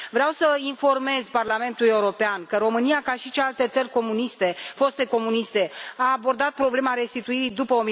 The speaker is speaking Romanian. Vreau să informez Parlamentul European că România, ca și celelalte țări foste comuniste, a abordat problema restituirii după